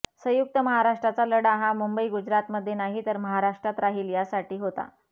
संयुक्त महाराष्ट्राचा लढा हा मुंबई गुजरातमध्ये नाही तर महाराष्ट्रात राहील यासाठी होता